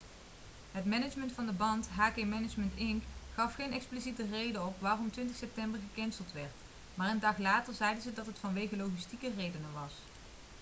het management van de band hk management inc gaf geen expliciete reden op waarom 20 september gecanceld werd maar een dag later zeiden ze dat het vanwege logistieke redenen was